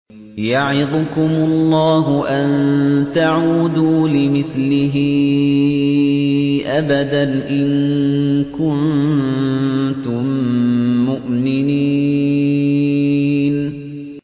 يَعِظُكُمُ اللَّهُ أَن تَعُودُوا لِمِثْلِهِ أَبَدًا إِن كُنتُم مُّؤْمِنِينَ